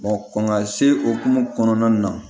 kɔn ka se okumu kɔnɔna na